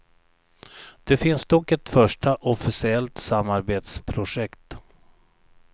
Det finns dock ett första, officiellt samarbetprojekt.